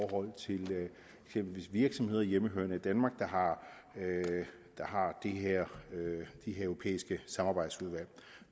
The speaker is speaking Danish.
eksempel virksomheder hjemmehørende i danmark der har de her europæiske samarbejdsudvalg